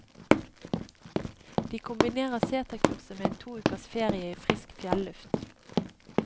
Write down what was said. De kombinerer seterkurset med en to ukers ferie i frisk fjelluft.